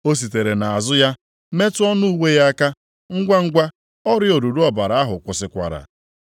O sitere nʼazụ ya metụ ọnụ uwe ya aka. Ngwangwa, ọrịa oruru ọbara ahụ kwụsịkwara.